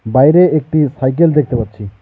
বাইরে একটি সাইকেল দেখতে পাচ্ছি।